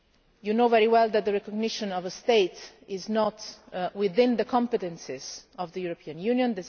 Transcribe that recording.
You know very well that the recognition of a state is not within the competences of the European Union.